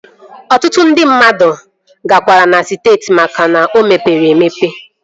Ọtụtụ ndị mmadụ kwagara na siti maka na o mepere emepe